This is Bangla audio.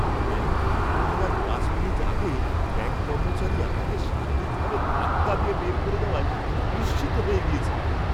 ব্যাঙ্ক বন্ধ হওয়ার পাঁচ মিনিট আগে ব্যাঙ্ক কর্মচারী আমাকে শারীরিকভাবে ধাক্কা দিয়ে বের করে দেওয়ায় আমি বিস্মিত হয়ে গিয়েছিলাম।